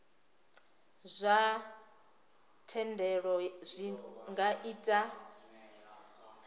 zwa thendelo zwi nga ita